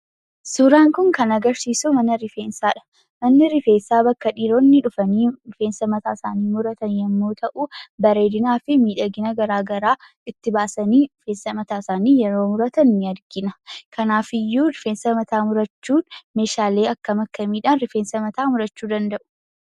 Suuraan kun, kan agarsiisu, mana rifeensadha. Manni rifeensa bakka dhiiroonni dhufani rifeensa mataa isaani muratan, yemmu ta'u, bareedinaa fi miidhagina garaagaraa itti baasani, rifeensa mataa isaani yeroo muratan ni argina. kanaafiyyuu rifeensa mataa murachuun, meeshaalee akkam, akkamiidhan, rifeensa mataa murachuu danda'u?